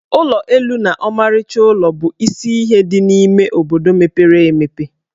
Ụlọ elu na ọmarịcha ụlọ bụ isi ihe dị n'ime obodo mepere emepe.